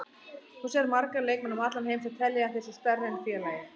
Þú sérð marga leikmenn um allan heim sem telja að þeir séu stærri en félagið.